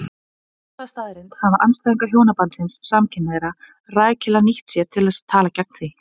Þessa staðreynd hafa andstæðingar hjónabands samkynhneigðra rækilega nýtt sér til að tala gegn því.